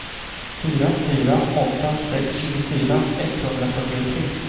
fyra fyra åtta sex tjugofyra etthundrafyrtiotre